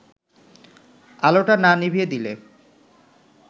আলোটা না নিভিয়ে দিলে